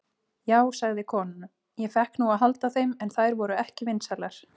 Já, sagði konan, ég fékk nú að halda þeim, en þær voru ekki vinsælar.